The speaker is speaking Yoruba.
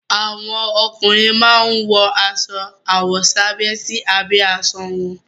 Àwọn ọkùnrin máa ń wọ aṣọ àwọ̀sábẹ́ sí abẹ́ aṣọ wọn.